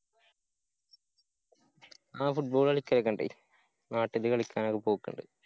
ആഹ് football കളിക്കലോക്കെണ്ട്. നാട്ടില് കളിക്കാനൊക്കെ പോക്ക്ണ്ട്